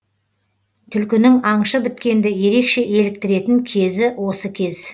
түлкінің аңшы біткенді ерекше еліктіретін кезі осы кез